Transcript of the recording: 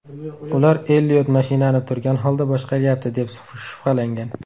Ular Elliot mashinani turgan holda boshqaryapti, deb shubhalangan.